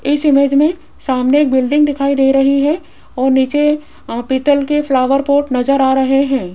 इस इमेज में सामने एक बिल्डिंग दिखाई दे रही है और नीचे अ पीतल के फ्लावर पॉट नजर आ रहे हैं।